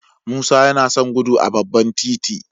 Musa yana son gudu a babban titi